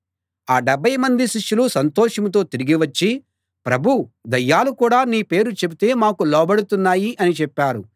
ఆ డెబ్భై మంది శిష్యులు సంతోషంతో తిరిగి వచ్చి ప్రభూ దయ్యాలు కూడా నీ పేరు చెబితే మాకు లోబడుతున్నాయి అని చెప్పారు